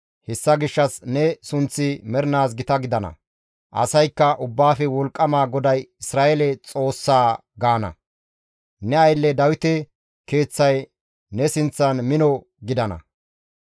hessa gishshas ne sunththi mernaas gita gidana; asaykka, ‹Ubbaafe Wolqqama GODAY Isra7eele Xoossaa› gaana. Ne aylle Dawite keeththay ne sinththan mino gidana.